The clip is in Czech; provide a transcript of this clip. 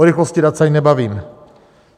O rychlosti dat se ani nebavím.